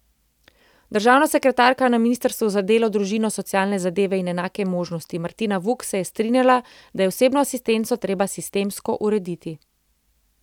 Državna sekretarka na ministrstvu za delo, družino, socialne zadeve in enake možnosti Martina Vuk se je strinjala, da je osebno asistenco treba sistemsko urediti.